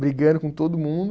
Brigando com todo mundo.